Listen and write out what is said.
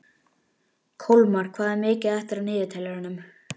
Kolmar, hvað er mikið eftir af niðurteljaranum?